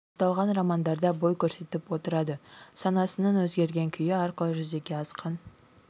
аталған романдарда бой көрсетіп отырады санасының өзгерген күйі арқылы жүзеге асқан